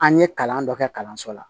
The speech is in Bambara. An ye kalan dɔ kɛ kalanso la